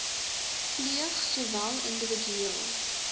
pleeg sowel individueel